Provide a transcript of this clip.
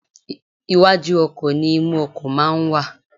Iwájú ọkò ni imú ọkò máa ń wà